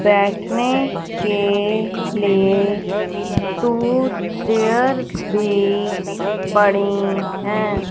बैठने के लिए टू चेयर्स भी पड़ीं हैं।